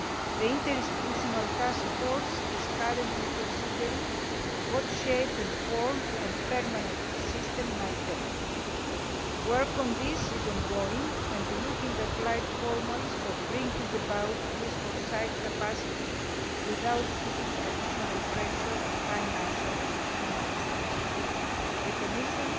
The interinstitutional taskforce is currently considering what shape and form a permanent system might take. Work on this is ongoing, looking at light formulas for bringing about this foresight capacity without putting additional pressure on financial and human resources. The Commission